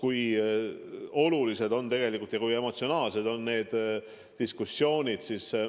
Me oleme näinud, kui olulised ja emotsiooniderikkad on need diskussioonid olnud.